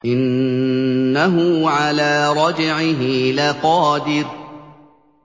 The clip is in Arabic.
إِنَّهُ عَلَىٰ رَجْعِهِ لَقَادِرٌ